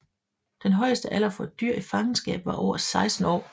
Den højeste alder for et dyr i fangenskab var over 16 år